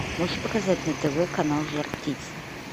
можешь показать на тв канал жар птица